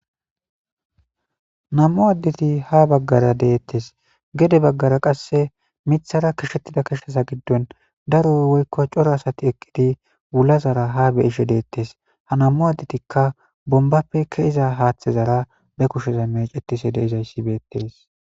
nammu addeti ha baggara deettes gede baggara qasse mithara kishettida kishsaza giddon daro woykko coro asati eqqidi wulazara ha beishe deettes ha namu addetikka bombappe keiza haaththezara be kusheza mecetise deizayssi beettees